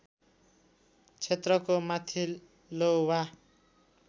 क्षेत्रको माथिल्लो वा